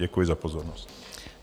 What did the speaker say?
Děkuji za pozornost.